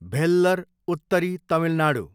भेल्लर, उत्तरी तमिलनाडू